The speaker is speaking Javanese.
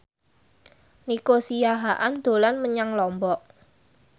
Nico Siahaan dolan menyang Lombok